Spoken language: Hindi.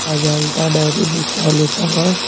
अजंता डेयरी दिख रहा है लिखा हुआ।